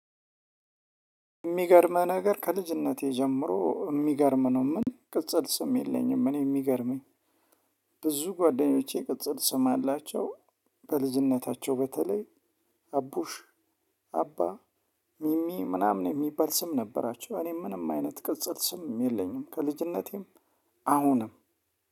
የሚገርምህ ነገር ከልጅነቴ ጀምሮ የሚገርም ነው። ምንም ቅጽል ስም የለኝም። እኔ የሚገርመኝ ብዙ ጓደኞቼ ቅጽል ስም አላቸው። በልጅነታቸው በተለይ አቡሽ አባ ሚሚ ምናምን የሚባል ስም ነበራቸው። እኔ ምንም አይነት ቅጽል ስም የለኝም። ከልጅነቴም አሁንም